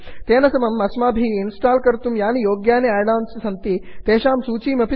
तेन समम् अस्माभिः इन्स्टाल् कर्तुं यानि योग्यानि आड् आन् सन्ति तेषां सूचीमपि ददाति